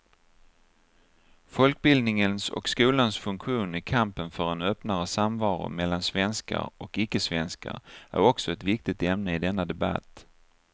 Folkbildningens och skolans funktion i kampen för en öppnare samvaro mellan svenskar och ickesvenskar är också ett viktigt ämne i denna debatt.